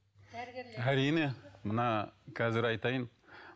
әрине мына қазір айтайын